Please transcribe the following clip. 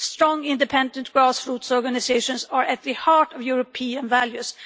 Strong, independent grassroots organisations are at the heart of European values.